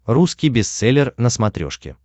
русский бестселлер на смотрешке